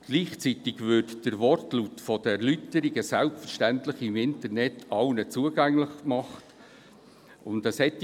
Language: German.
Gleichzeitig würde der volle Wortlaut der Erläuterungen selbstverständlich im Internet allen zugänglich gemacht.